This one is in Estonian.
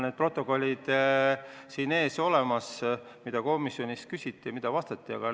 Mul on protokollid selle kohta, mida komisjonis küsiti ja mida vastati, olemas.